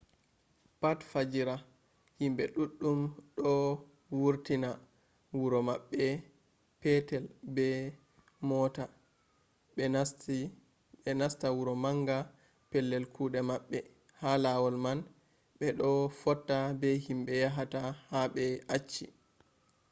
pat fajira himɓe ɗuɗɗum ɗo wurta wuro maɓɓe petel be mota ɓe nasta wuro manga pellel kuɗe maɓɓe. ha lawol man ɓe ɗo fotta be himɓe yahata ha ɓe acci